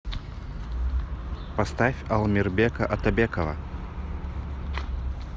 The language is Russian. поставь ал мирбека атабекова